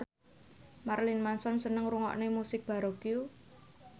Marilyn Manson seneng ngrungokne musik baroque